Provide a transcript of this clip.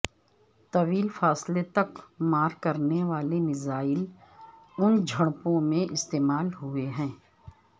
طویل فاصلے تک مار کرنے والے میزائل ان جھڑپوں میں استعمال ہوئے ہیں